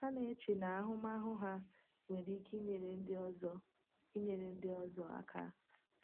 Ha na-eche na ahụmahụ ha nwere ike inyere ndị ọzọ inyere ndị ọzọ aka.